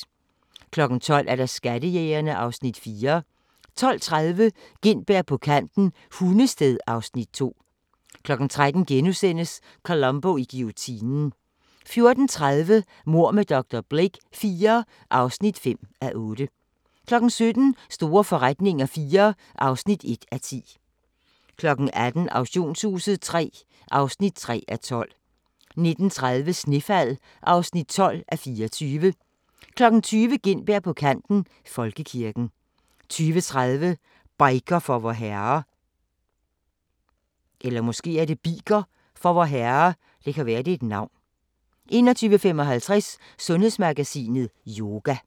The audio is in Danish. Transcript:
12:00: Skattejægerne (Afs. 4) 12:30: Gintberg på kanten – Hundested (Afs. 2) 13:00: Columbo i guillotinen * 14:30: Mord med dr. Blake IV (5:8) 17:00: Store forretninger IV (1:10) 18:00: Auktionshuset III (3:12) 19:30: Snefald (12:24) 20:00: Gintberg på kanten - Folkekirken 20:30: Biker for Vorherre 21:55: Sundhedsmagasinet: Yoga